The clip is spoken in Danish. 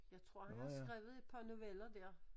Jeg tror han har skrevet et par noveller der